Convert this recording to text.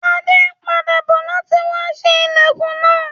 Adé n padà bo láti wa sé ilẹ́kùn náà